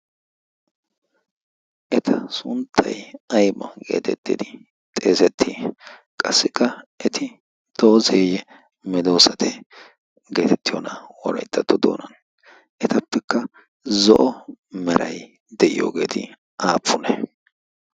eta sunttay aymo geetettidi xeesettii qassikka 'eti doozeeyye medoosate geetettiyoona worayttattu doonan etappekka zo'o meray de'iyoogeeti aappune ?